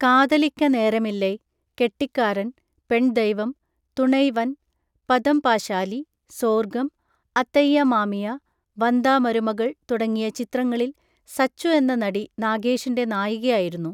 Kadhalikka Neramillai, Kettikkaran, Penn Deivam, Thunaivan, Patham Pasali, Sorgam, Athaiya Mamiya, Vandha Marumagal തുടങ്ങിയ ചിത്രങ്ങളിൽ സച്ചു എന്ന നടി നാഗേഷിൻ്റെ നായികയായിരുന്നു